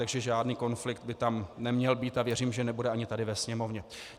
Takže žádný konflikt by tam neměl být a věřím, že nebude ani tady ve Sněmovně.